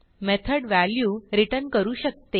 method value return करू शकते